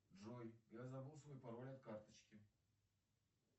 джой я забыл свой пароль от карточки